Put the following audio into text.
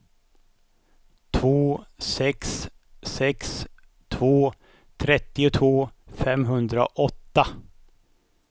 två sex sex två trettiotvå femhundraåtta